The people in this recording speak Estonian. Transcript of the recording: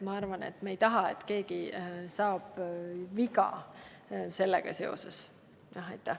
Ma arvan, et me ei keegi ei taha, et keegi saaks viga.